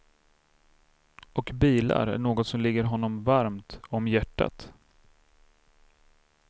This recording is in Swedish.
Och bilar är något som ligger honom varmt om hjärtat.